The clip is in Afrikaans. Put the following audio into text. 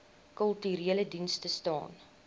kulturele dienste staan